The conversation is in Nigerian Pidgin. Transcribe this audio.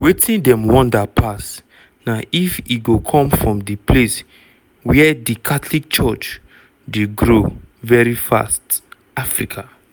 wetin dem wonder pass na if e go come from di place wia di catholic church dey grow veri fast – africa.